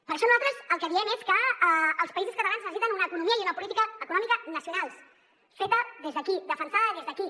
per això nosaltres el que diem és que els països catalans necessiten una econo·mia i una política econòmica nacionals fetes des d’aquí defensades des d’aquí